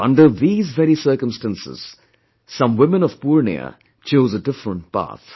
But under these very circumstances, some women of Purnia chose a different path